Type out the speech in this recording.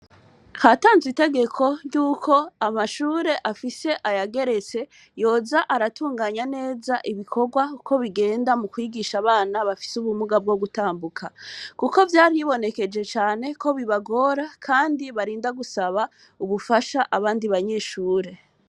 Hatanzwe ry'itegeko ry'uko amashure afise ayageretse yoza aratunganya neza ibikorwa uko bigenda mu kwigisha abana bafise ubumuga bwo gutambuka. Kuko vyaribonekeje cane ko bibagora kandi barinda gusaba ubugasha abandi banyeshure.